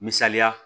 Misaliya